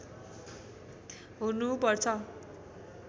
हुनु पर्छ